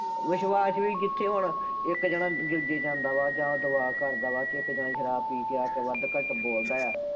ਵਿਸ਼ਵਾਸ਼ ਵੀ ਕਿੱਥੇ ਹੋਣਾ, ਇੱਕ ਜਾਣਾ ਹਿੱਲ ਜੇ ਜਾਂਦਾ ਵਾ, ਜਾਂ ਉਹ ਤਬਾਹ ਕਰਦਾ ਵਾ, ਠੇਕੇ ਤੋਂ ਆਏਂ ਸ਼ਰਾਬ ਪੀ ਕੇ ਆ ਕੇ ਵੱਧ ਘੱਟ ਬੋਲਦਾ ਐ।